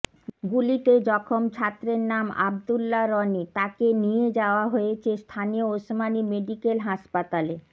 গুলিতে জখম ছাত্রের নাম আব্দুল্লা রনি তাকে নিয়ে যাওয়া হয়েছে স্থানীয় ওসমানি মেডিকেল হাসপাতালে